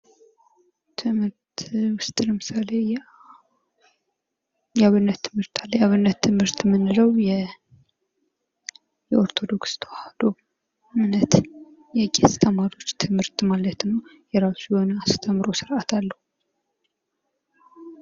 ትምህርት ውስጥ ለምሳሌ የአብነት ትምህርት አለ የአብነት ትምህርት የምንለው የኦርቶዶክስ ተዋህዶ እምነት የቄስ ተማሪዎች ትምህርት ማለት ነው የራሱ የሆነ አስተምሮ ስርአት አለው ::